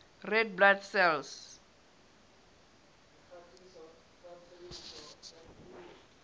red blood cells